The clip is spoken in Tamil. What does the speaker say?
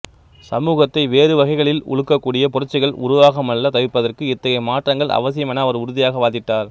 சமூகத்தை வேறு வகைகளில் உலுக்கக்கூடிய புரட்சிகள் உருவாகமல் தவிர்ப்பதற்கு இத்தகைய மாற்றங்கள் அவசியம் என அவர் உறுதியாக வாதிட்டார்